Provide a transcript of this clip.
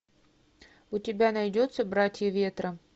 у тебя найдется братья ветра